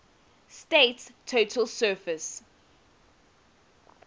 state's total surface